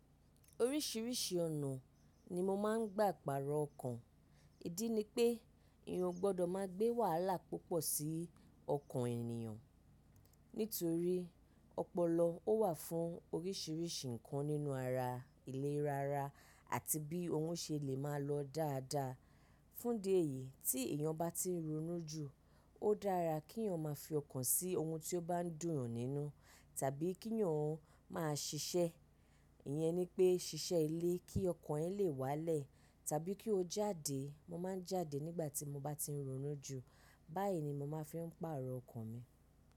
Oríṣiríṣi ọ̀nà ni mo máa ń gbà pàrọ̀ ọkàn. Ìdí ni pé eyàn o gbọ́dọ̀ máa gbé wàhálà púpọ̀ sí ọkàn ènìyàn. Nítorí ọpọlọ ó wà fún oríṣiríṣi ǹkan nínú ara, ìlera ara àti bí ohun ṣe lè máa lọ dáadáa. Fún dí eyìí tí èèyàn bá ti ń ronú jù, ó dára kí èèyàn máa fi ọkàn sí ohun tí ó bá ń dùn yan nínú. Tàbí kí yan ó máa ṣiṣẹ́. Ìyẹn ni pé ṣiṣẹ́ ilé kí ọkàn ẹ lè wálẹ̀ tàbí kí o jáde. Mo máa ń jáde nígbà tí mo bá ti ń ronú jù. Báyìí ni mo máa fi ń pàrọ̀ ọkàn mi.